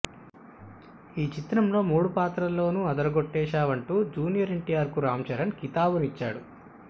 ఈ చిత్రంలో మూడు పాత్రల్లో అదరగొట్టేశావంటూ జూనియర్ ఎన్టీఆర్ కు రామ్ చరణ్ కితాబునిచ్చాడు